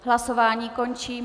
Hlasování končím.